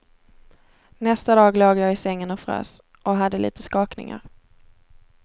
Nästa dag låg jag i sängen och frös, och hade lite skakningar.